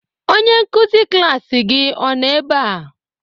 Onye nkuzi klaasị gị ọ nọ ebe a?